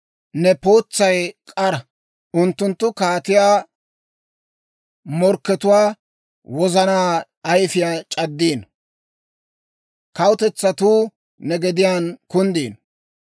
Ne pootsay k'ara; unttunttu kaatiyaa morkkatuwaa wozana ayifiyaa c'addino. Kawutetsatuu ne gediyaan kunddino.